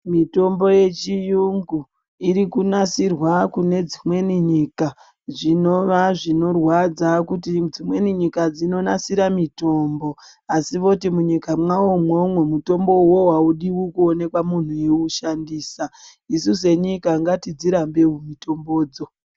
Mitombo yechiyungu irikunasirwa kune dzimweni nyika zvinova zvinorwadza kuti dzimweni nyika dzinonasira mitombo asi voti munyika mavo imwomwo munhu mutombo uwowo audi kuoneka munhu eiushandisa isu senyika ngatidzirambewo mitombodzo.